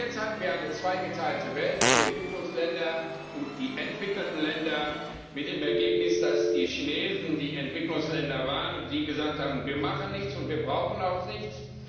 Bis jetzt hatten wir eine zweigeteilte Welt, die Entwicklungsländer und die entwickelten Länder, mit dem Ergebnis, dass die Chinesen die Entwicklungsländer waren und sie gesagt haben, wir machen nichts, und wir brauchen auch nichts.